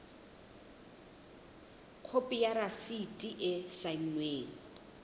khopi ya rasiti e saennweng